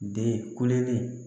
Den kulelen